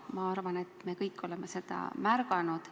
Ma arvan, et me kõik oleme seda märganud.